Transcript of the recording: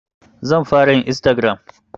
Zan fara yin Istagiram